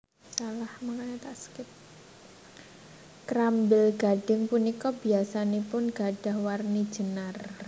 Krambil gadhing punika biyasanipun gadhah warni jenar